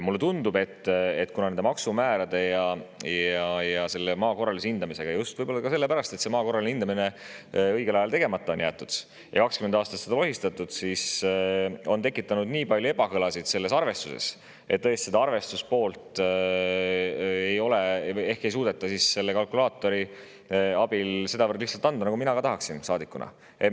Mulle tundub, et nende maksumäärade ja maa korralise hindamisega – võib-olla just selle pärast, et maa korraline hindamine jäeti õigel ajal tegemata ja 20 aastat on seda lohistatud – on tekitatud nii palju ebakõlasid selles arvestuses, et ehk tõesti ei suudeta selle kalkulaatori abil seda arvestust sedavõrd lihtsalt anda, nagu ka mina saadikuna tahaksin.